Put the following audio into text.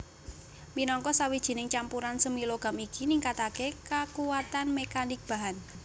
Minangka sawijining campuran semi logam iki ningkataké kakuatan mekanik bahan